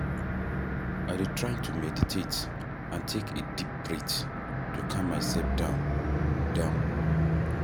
i dey try to meditate and take a deep breath to calm myself down, down.